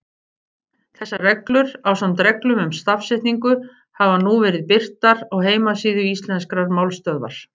Þessar reglur, ásamt reglum um stafsetningu, hafa nú verið birtar á heimasíðu Íslenskrar málstöðvar.